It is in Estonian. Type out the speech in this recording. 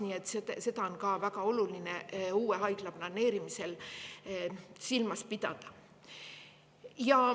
Nii et seda on ka uue haigla planeerimisel väga oluline silmas pidada.